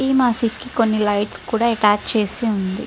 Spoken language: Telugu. ఎ మాజిద్ కి కొని లైట్స్ కూడా అటాచ్ చేసే ఉనది.